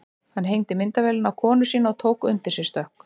Hann hengdi myndavélina á konu sína og tók undir sig stökk.